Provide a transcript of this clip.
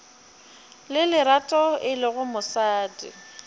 le lerato e lego mosadi